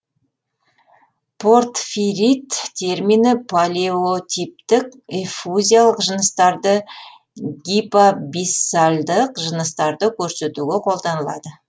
портфирит термині палеотиптік эффузиялық жыныстарды гипабиссальдық жыныстарды көрсетуге қолданылады